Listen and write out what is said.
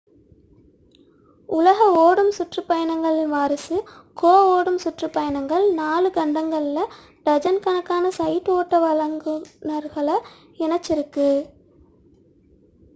உலக ஓடும் சுற்றுப் பயணங்களின் வாரிசு கோ ஓடும் சுற்றுப் பயணங்கள் நான்கு 4 கண்டங்களில் டஜன் கணக்கான சைட் ஓட்ட வழங்குனர்களை இணைத்துள்ளது